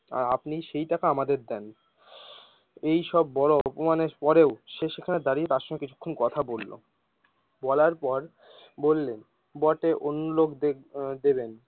আপনি সেই টাকা আমাদের দেন এই সব বড় অপমানের পরেও, সে সেখানে দাঁড়িয়েও কিছুক্ষণ কথা বললো বলার পর বললেন বটে অন্য লোক দেখ দেবেন।